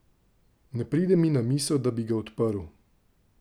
Ne pride mi na misel, da bi ga odprl.